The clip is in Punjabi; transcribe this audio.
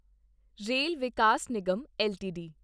rail Vikas Nigam LTD